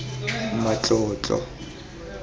matlotlo